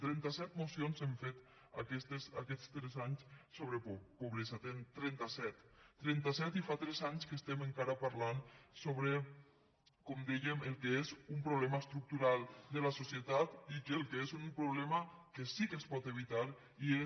trenta set mocions hem fet aquests tres anys sobre pobresa trenta set trenta set i fa tres anys que estem encara parlant sobre com dèiem el que és un problema estructural de la societat i que el que és un problema que sí que es pot evitar i és